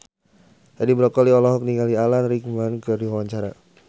Edi Brokoli olohok ningali Alan Rickman keur diwawancara